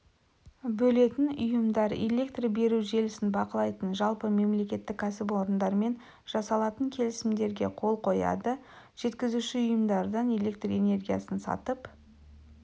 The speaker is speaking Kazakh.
бөлетін ұйымдар электр беру желісін бақылайтын жалпы мемлекеттік кәсіпорындармен жасалатын келісімдерге қол қояды жеткізуші ұйымдардан электр энергиясын сатып